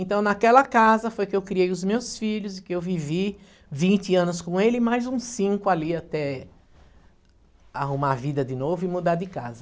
Então naquela casa foi que eu criei os meus filhos e que eu vivi vinte anos com ele e mais uns cinco ali até arrumar a vida de novo e mudar de casa.